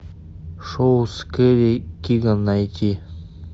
шоу с кэрри киган найти